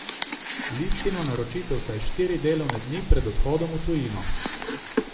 Listino naročite vsaj štiri delovne dni pred odhodom v tujino.